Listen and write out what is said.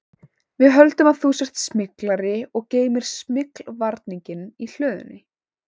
Við höldum að þú sért smyglari og geymir smyglvarninginn í hlöðunni